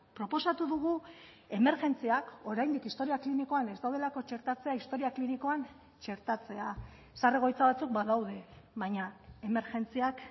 proposatu dugu emergentziak oraindik historia klinikoan ez daudelako txertatzea historia klinikoan txertatzea zahar egoitza batzuk badaude baina emergentziak